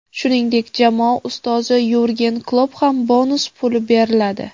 Shuningdek, jamoa ustozi Yurgen Klopp ham bonus puli beriladi.